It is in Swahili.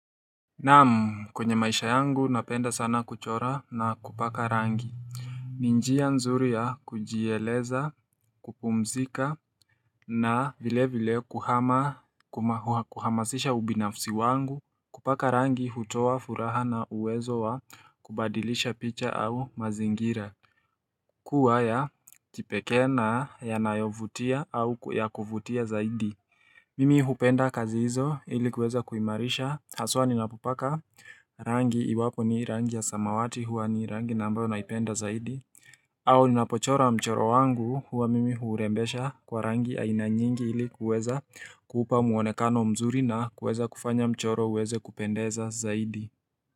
Namu kwenye maisha yangu napenda sana kuchora na kupaka rangi ni njia nzuri ya kujieleza kupumzika na vile vile kuhama kuhamasisha ubinafusi wangu kupaka rangi hutoa furaha na uwezo wa kubadilisha picha au mazingira Kuwaya kipekee na yanayovutia au ya kuvutia zaidi Mimi hupenda kazi hizo ilikuweza kuimarisha haswa ninapopaka rangi iwapo ni rangi ya samawati huwa ni rangi nambayo naipenda zaidi au ninapochora mchoro wangu huwa mimi hurembesha kwa rangi ainanyingi ilikuweza kuupa muonekano mzuri na kueza kufanya mchoro uweze kupendeza zaidi.